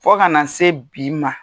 Fo ka na se bi ma.